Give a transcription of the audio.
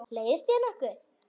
Leiðist þér nokkuð?